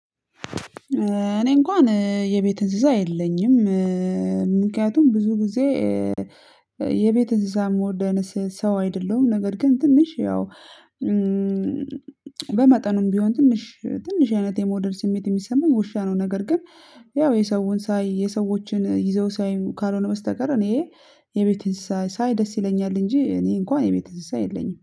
እኔ እንኳን የቤት እንዝዛ የለኝም። ምክንያቱም ብዙ ጊዜ የቤት እንስሳ የምወደነ አይነት ሰው አይደለሁም። ነገር ግን ትንሽ ያው በመጠኑም ቢሆን ትንሽ ትንሽ አይነት የመውደድ ስሜት የሚሰማው ውሻ ነው። ነገር ግን ያው የሰውን ሳይ የሰዎችን ይዘው ሳይ ካልሆነ በስተቀር እኔ የቤት እንስሳ ሳይ ደስ ይለኛል። እንጂ እኔ እንኳን የቤት እንስሳ የለኝም።